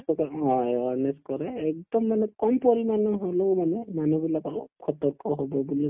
first তে অ awareness কৰে একদম মানে পৰিমাণৰ হলেও মানে মানুহবিলাক অলপ সতৰ্ক হব বুলি